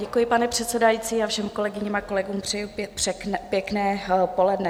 Děkuji, paní předsedající, a všem kolegyním a kolegům přeji pěkné poledne.